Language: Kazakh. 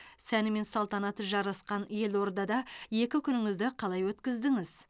сәні мен салтанаты жарасқан елордада екі күніңізді қалай өткіздіңіз